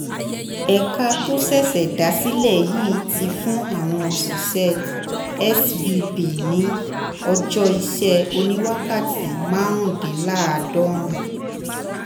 ẹ̀ka tó ṣẹ̀ṣẹ̀ dá sílẹ̀ yìí ti fún àwọn òṣìṣẹ́ svb ní ọjọ́ iṣẹ́ oníwákàtí márùndínláàádọ́rin